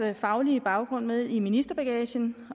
faglige baggrund med i ministerbagagen